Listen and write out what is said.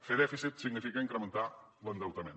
fer dèficit significa incrementar l’endeutament